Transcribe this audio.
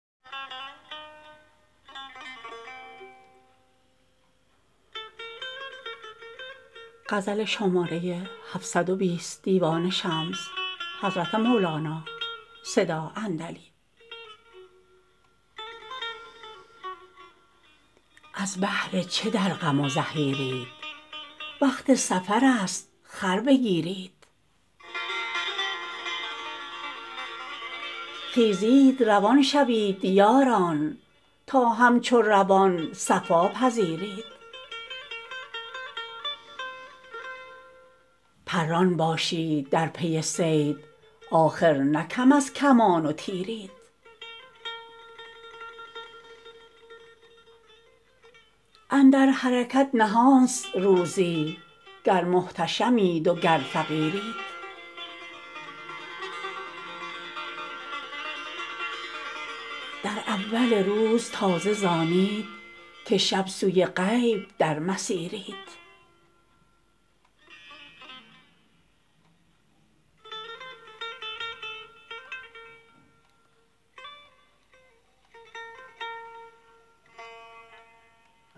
از بهر چه در غم و زحیرید وقت سفرست خر بگیرید خیزید روان شوید یاران تا همچو روان صفا پذیرید پران باشید در پی صید آخر نه کم از کمان و تیرید اندر حرکت نهانست روزی گر محتشمید وگر فقیرید در اول روز تازه ز آنید که شب سوی غیب در مسیرید